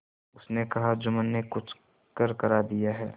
उसने कहाजुम्मन ने कुछ करकरा दिया है